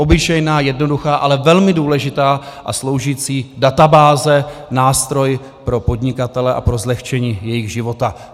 Obyčejná, jednoduchá, ale velmi důležitá a sloužící databáze, nástroj pro podnikatele a pro zlehčení jejich života.